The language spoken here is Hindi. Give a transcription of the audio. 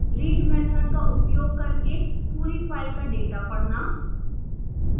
read method का उपयोग करके पूरी फाइल का डेटा पढ़ना